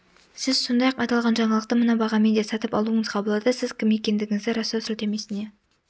сіз сондай-ақ аталған жаңалықты мына бағамен де сатып алуыңызға болады сіз кім екендігіңізді растау сілтемесіне